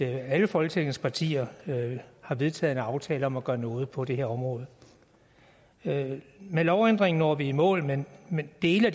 alle folketingets partier har vedtaget en aftale om at gøre noget på det her område det med lovændringen når vi i mål med med dele af